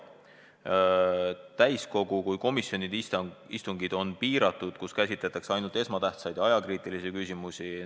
Osas riikides on nii täiskogu kui komisjonide istungid piiratud, käsitletakse ainult esmatähtsaid ja ajakriitilisi küsimusi.